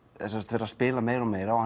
er að spila meira og meira og